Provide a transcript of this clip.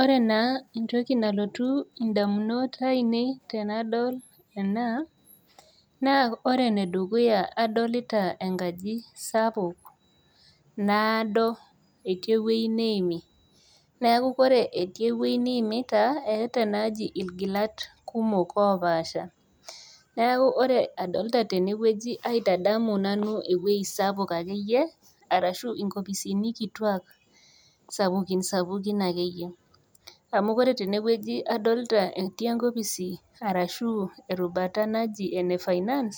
Ore na entoki nalotu indamunot ainei tenadol ena naa ore enedukuya naa adolita enkaji sapuk naado etii ewueji neimi naku kore etii ewueji niimita eeta ena aji ilgilat kumok opaasha neku ore adolta tenewueji aitadamu nanu ewuei sapuk akeyie arashu inkopisini kituak sapukin sapukin akeyie amu kore tenewueji adolta etii enkopisi arashu erubata naji ene finance